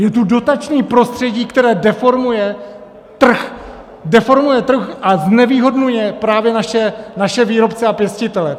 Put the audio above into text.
Je tu dotační prostředí, které deformuje trh - deformuje trh a znevýhodňuje právě naše výrobce a pěstitele.